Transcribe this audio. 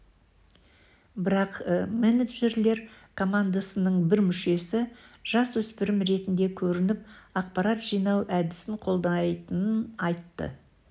бірақ менеджерлер командасының бір мүшесі жасөспірім ретінде көрініп ақпарат жинау әдісін қолдайтынын айтты